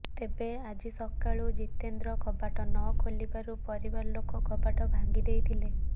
ତେବେ ଆଜି ସକାଳୁ ଜିତେନ୍ଦ୍ର କବାଟ ନ ଖୋଲିବାରୁ ପରିବାର ଲୋକ କବାଟ ଭାଙ୍ଗି ଦେଇଥିଲେ